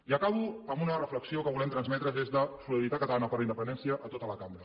i acabo amb una reflexió que volem transmetre des de solidaritat catalana per la independència a tota la cambra